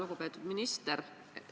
Lugupeetud minister!